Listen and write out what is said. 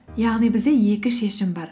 яғни бізде екі шешім бар